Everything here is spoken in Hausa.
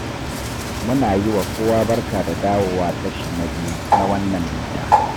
Muna yi wa kowa barka da dawowa kashi na biyu na wannan bita.